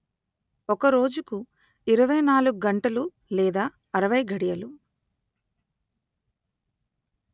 ఒక రోజుకు ఇరవై నాలుగు గంటలు లేదా అరవై ఘడియలు